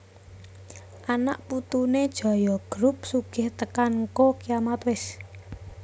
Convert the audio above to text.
Anak putune Jaya Group sugih tekan ngko kiamat wes